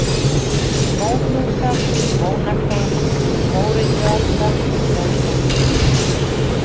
Móhnúkar, Mónakó, Mórillualda, Mósambík